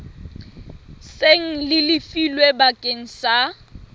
seng le lefilwe bakeng sa